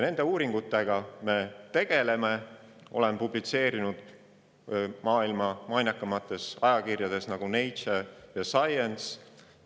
Olen publitseerinud maailma mainekaimates ajakirjades, nagu Nature ja Science.